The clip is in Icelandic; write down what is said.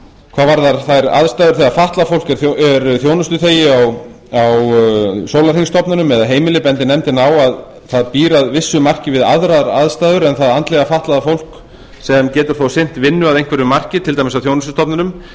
hvað varðar þær aðstæður þegar fatlað fólk er þjónustuþegar á sólarhringsstofnun eða heimili bendir nefndin á að það býr að vissu marki við aðrar aðstæður en það andlega fatlaða fólk sem getur þó sinnt vinnu að einhverju marki til dæmis á þjónustustofnunum